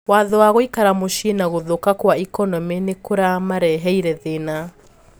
"Watho wa gũikara mũcii na guthuka kwa ikonomi nikũmareheire thĩna .